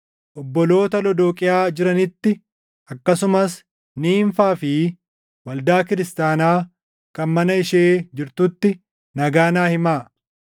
Obboloota Lodooqiyaa jiranitti, akkasumas Niimfaa fi waldaa kiristaanaa kan mana ishee jirtutti nagaa naa himaa.